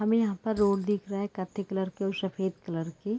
हमे यहाँ पर रोड दिख रहा है कत्थे कलर की और सफ़ेद कलर की--